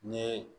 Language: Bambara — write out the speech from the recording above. N ye